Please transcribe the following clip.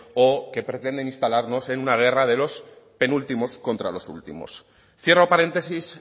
o que pretenden instalarnos en una guerra de los penúltimos contra los últimos cierro paréntesis